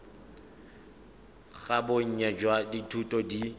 ga bonnye jwa dithuto di